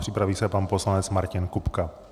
Připraví se pan poslanec Martin Kupka.